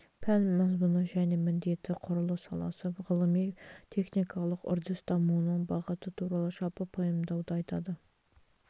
пән мазмұны және міндеті құрылыс саласы ғылыми-техникалық үрдіс дамуының бағыты туралы жалпы пайымдауды айтады